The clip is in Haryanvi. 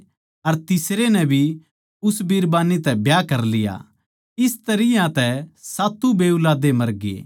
अर तीसरे नै भी उस बिरबान्नी तै ब्याह कर लिया इस तरियां तै सात्तु बेऊलादे मरगे